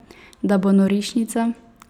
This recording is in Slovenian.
Da bo norišnica?